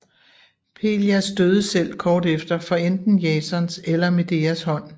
Pelias døde selv kort efter for enten Jasons eller Medeas hånd